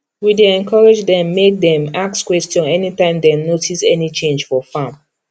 we dey encourage dem make dem ask question anytime dem notice any change for farm